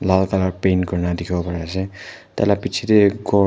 lal colour paint kori na dekhi bo Pari ase tar laga piche te gour--